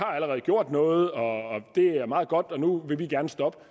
allerede gjort noget og det er meget godt og nu vil vi gerne stoppe